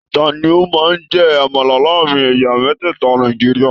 Tani o máa n jẹ àmàlà láàrin ẹyà mẹtẹta Nàìjíríà?